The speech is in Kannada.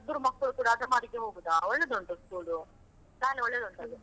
ನನ್ ಇಬ್ರು ಮಕ್ಕಳು ಕುಡಾ ಅದಮಾರಿಗೆ ಹೋಗುದಾ, ಒಳ್ಳೆದುಂಟು school , ಶಾಲೆ ಒಳ್ಳೆದುಂಟದು ಅದು.